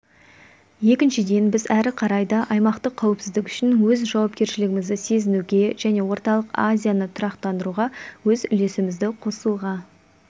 екіншіден біз әрі қарай да аймақтық қауіпсіздік үшін өз жауапкершілігімізді сезінуге және орталық азияны тұрақтандыруға өз үлесімізді қосуға